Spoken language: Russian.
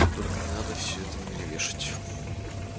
только не надо всё это на меня вешать